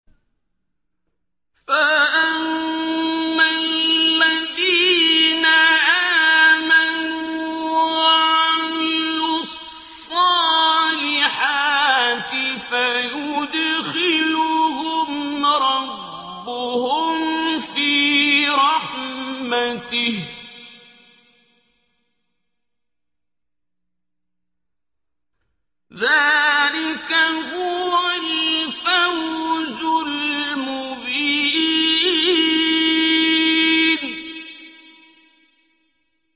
فَأَمَّا الَّذِينَ آمَنُوا وَعَمِلُوا الصَّالِحَاتِ فَيُدْخِلُهُمْ رَبُّهُمْ فِي رَحْمَتِهِ ۚ ذَٰلِكَ هُوَ الْفَوْزُ الْمُبِينُ